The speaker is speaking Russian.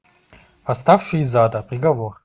восставший из ада приговор